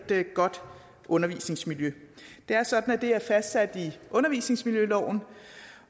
godt undervisningsmiljø det er sådan at det er fastsat i undervisningsmiljøloven